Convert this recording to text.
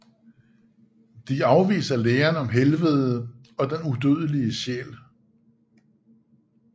De afviser læren om helvede og den udødelige sjæl